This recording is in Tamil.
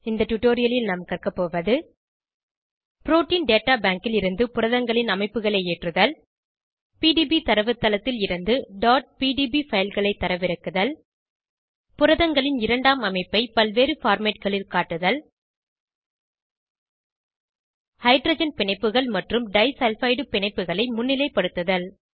இந்த டுடோரியலில் நாம் கற்கபோவது புரோட்டீன் டேட்டா பேங்க் லிருந்து புரதங்களின் அமைப்புகளை ஏற்றுதல் பிடிபி தரவுத்தளத்தில் இருந்து pdb fileகளை தரவிறக்குதல் புரதங்களின் இரண்டாம் அமைப்பை பல்வேறு formatகளில் காட்டுதல் ஹைட்ரஜன் பிணைப்புகள் மற்றும் டைசல்பைடு பிணைப்புகளை முன்னிலைப்படுத்துதல்